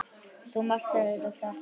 Svo margt er að þakka.